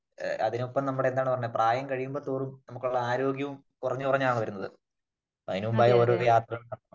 അതിനൊപ്പം നമ്മുടെ എന്താണ് പറയുന്നെ പ്രായം കഴിയുമ്പോ തോറും നമുക്ക് ഉള്ള ആരോഗ്യവും കുറഞ്ഞ് കുറഞ്ഞാണ് വരുന്നത് . അതിന് മുമ്പായി ഓരോ യാത്രകളും